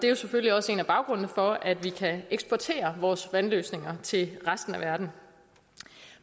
er selvfølgelig også en af baggrundene for at vi kan eksportere vores vandløsninger til resten af verden